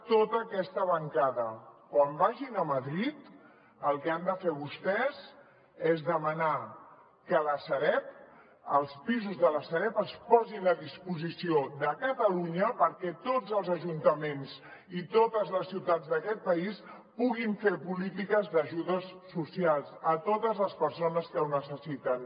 tota aquesta bancada quan vagin a madrid el que han de fer vostès és demanar que la sareb els pisos de la sareb es posin a disposició de catalunya perquè tots els ajuntaments i totes les ciutats d’aquest país puguin fer polítiques d’ajudes socials a totes les persones que ho necessiten